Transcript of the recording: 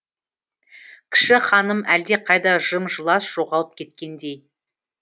кіші ханым әлдеқайда жым жылас жоғалып кеткендей